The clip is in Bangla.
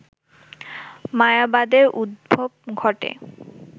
মায়াবাদের উদ্ভব ঘটে